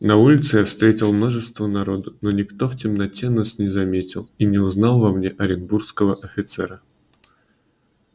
на улице я встретил множество народу но никто в темноте нас не заметил и не узнал во мне оренбургского офицера